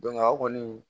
aw kɔni